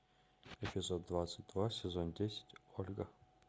эпизод двадцать два сезон десять ольга